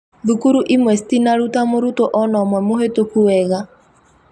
Thukuru imwa cutinaruta mũrutuo ona ũmwe mũhetũku wega